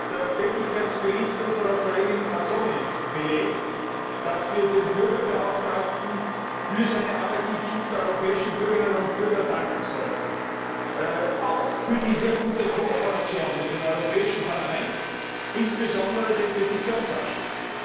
Der Tätigkeitsbericht unserer Kollegin Mazzoni belegt, dass wir dem Bürgerbeauftragten für seine Arbeit im Dienst der europäischen Bürgerinnen und Bürger danken sollten, auch für die sehr gute Kooperation mit dem Europäischen Parlament, insbesondere mit dem Petitionsausschuss.